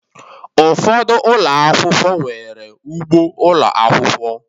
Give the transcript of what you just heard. Ụfọdụ ụlọ akwụkwọ, nwere ugbo ụlọ akwụkwọ